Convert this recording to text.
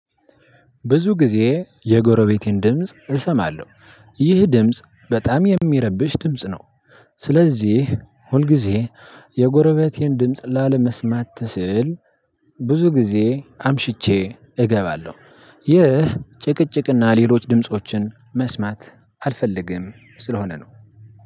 ብዙ ጊዜ የጎረቤቴን ድምጽ እሰማለሁ ይህ ድምጽ በጣም እሚረብሽ ድምጽ ነው። ስለዚህ ሁልጊዜ የጎረቤቴን ድምጽ ላለመስማት ስል ብዙ ጊዜ አምሽቼ እገባለሁ። ይህ ጭቅጭቅና ሌሎች ድምፆችን መስማት አልፈልግም ስለሆነ ነው።